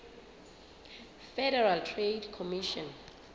federal trade commission